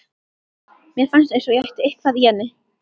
Mér fannst eins og ég ætti eitthvað í henni.